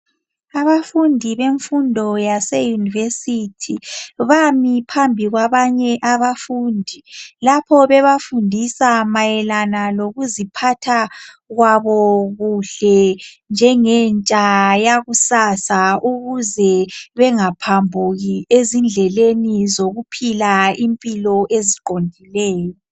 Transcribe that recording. Abafundi bemfundo yase "University" bami phambi kwabanye abafundi lapho bebafundisa mayelana lokuziphatha kwabo kuhle njengentsha yakusasa ukuze bengaphambuki ezindleleni zokuphila impilo eziqondileyo.